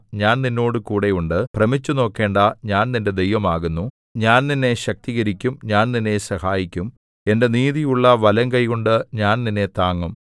ഞാൻ നിന്നോടുകൂടെ ഉണ്ട് ഭ്രമിച്ചുനോക്കേണ്ടാ ഞാൻ നിന്റെ ദൈവം ആകുന്നു ഞാൻ നിന്നെ ശക്തീകരിക്കും ഞാൻ നിന്നെ സഹായിക്കും എന്റെ നീതിയുള്ള വലംകൈകൊണ്ടു ഞാൻ നിന്നെ താങ്ങും